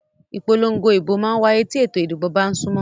Ìpòlongo ìbò mà n wáyé tí ètò ìdìbò bá n súnmọ́